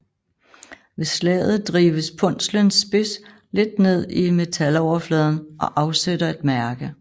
Ved slaget drives punslens spids lidt ned i metaloverfladen og afsætter et mærke